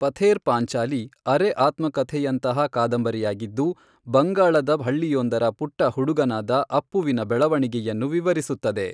ಪಥೇರ್ ಪಾಂಚಾಲಿ ಅರೆ ಆತ್ಮಕಥೆಯಂತಹ ಕಾದಂಬರಿಯಾಗಿದ್ದು, ಬಂಗಾಳದ ಹಳ್ಳಿಯೊಂದರ ಪುಟ್ಟ ಹುಡುಗನಾದ ಅಪ್ಪುವಿನ ಬೆಳವಣಿಗೆಯನ್ನು ವಿವರಿಸುತ್ತದೆ.